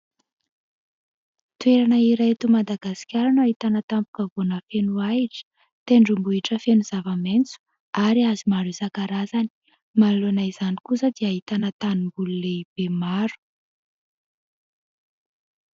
Toerana iray eto Madagasikara no ahitana tampon-kavoana feno ahitra, tendrombohitra feno zava-maitso ary hazo maro isan-karazany. Manoloana izany kosa dia ahitana tanimboly lehibe maro.